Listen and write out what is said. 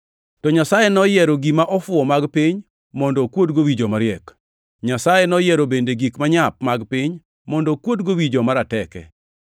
To Nyasaye noyiero gima ofuwo mag piny mondo okuodgo wi joma riek. Nyasaye noyiero bende gik manyap mag piny mondo okuodgo wi joma rateke.